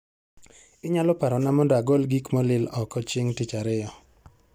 Inyalo parona mondo agol gik molil oko chieng' tich ariyo